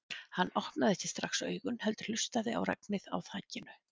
Hann opnaði ekki strax augun heldur hlustaði á regnið á þakinu.